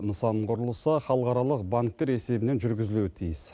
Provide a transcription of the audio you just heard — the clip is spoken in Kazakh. нысан құрылысы халықаралық банктер есебінен жүргізілуі тиіс